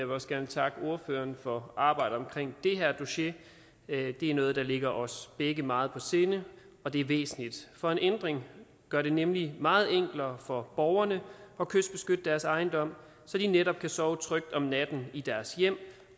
vil også gerne takke ordføreren for arbejdet omkring det her dossier det er noget der ligger os begge meget på sinde og det er væsentligt for en ændring gør det nemlig meget enklere for borgerne at kystbeskytte deres ejendom så de netop kan sove trygt om natten i deres hjem